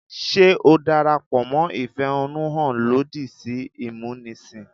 Ṣé o darapọ̀ mọ́ ìfẹ̀hánnúhàn lòdì sí ìmúnisìn?